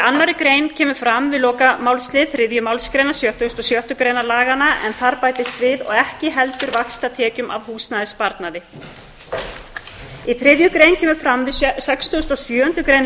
önnur grein við lokamálslið þriðju málsgreinar sextugustu og sjöttu greinar laganna bætist og ekki heldur vaxtatekjum af húsnæðissparnaðarreikningi þriðja grein við sextugustu og sjöundu grein